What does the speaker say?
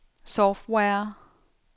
software